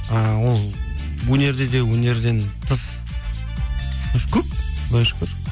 і ол өнерде де өнерден тыс көп құдайға шүкір